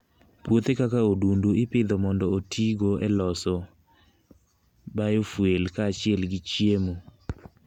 Puothe kaka odundu ipidho mondo otigo e loso biofuel kaachiel gi chiemo.